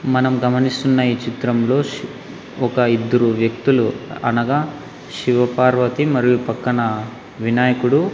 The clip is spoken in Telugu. మనం గమనిస్తున్న ఈ చిత్రంలో ష్ ఒక ఇద్దరు వ్యక్తులు అనగా శివపార్వతి మరియు పక్కన వినాయకుడు.